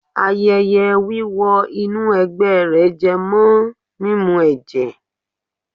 Ayẹyẹ wíwọ inú ẹ̀gbẹ́ rẹ̀ jẹ mọ́ mímu ẹ̀jẹ̀.